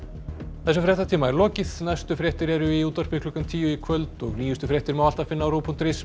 þessum fréttatíma er lokið næstu fréttir eru í útvarpi klukkan tíu í kvöld og nýjustu fréttir má alltaf finna á ruv punktur is